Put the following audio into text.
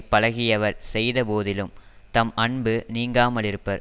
பழகியவர் செய்த போதிலும் தம் அன்பு நீங்காமலிருப்பர்